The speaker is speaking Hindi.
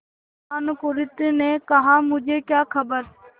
भानुकुँवरि ने कहामुझे क्या खबर